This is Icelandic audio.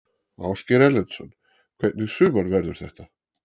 Ásgeir Erlendsson: Hvernig sumar verður þetta?